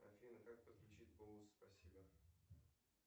афина как подключить бонус спасибо